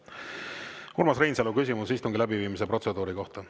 Urmas Reinsalu, küsimus istungi läbiviimise protseduuri kohta.